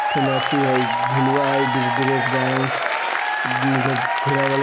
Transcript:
फिरन अथी है झुलुआ है| ब्रेकडांस --